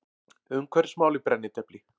Umhverfismál í brennidepli.